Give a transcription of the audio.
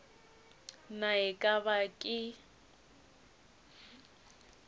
na e ka ba ke